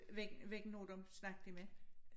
Hvilke hvilke nogle dem snakkede I med?